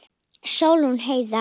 Sólrún Heiða.